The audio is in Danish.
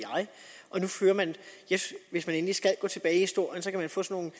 jeg hvis man endelig skal gå tilbage i historien kan man få sådan